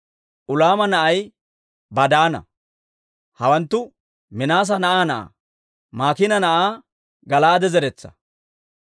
Ulaama na'ay Badaana. Hawanttu Minaase na'aa na'aa, Maakiina na'aa Gala'aade zeretsaa.